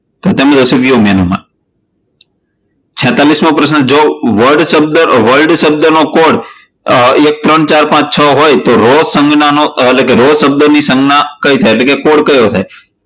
તો તેમાં થશે મેનૂમાં. છેતાલીસ મો પ્રશ્ન જો word શબ્દનો કોડ એક ત્રણ ચાર પાંચ છ હોય તો row સંજ્ઞા એટલે કે row શબ્દની સંજ્ઞા કઈ થાય? એટલે કે કોડ કયો થાય?